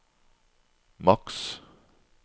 maks